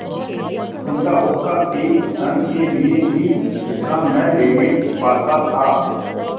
उनका हुक्का एक क्षण के लिए भी विश्राम न लेने पाता था